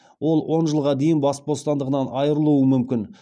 ол он жылға дейін бас бостандығынан айырылуы мүмкін